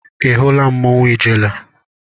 Ị hụla mmanwụ ijele?